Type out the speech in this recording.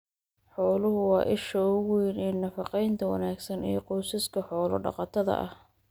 Xooluhu waa isha ugu weyn ee nafaqeynta wanaagsan ee qoysaska xoolo-dhaqatada ah.